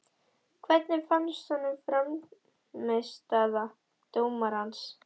Hvernig fannst honum frammistaða dómarans?